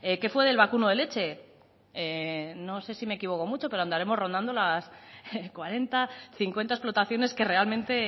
qué fue del vacuno de leche no sé si me equivoco mucho pero andaremos rondando las cuarenta cincuenta explotaciones que realmente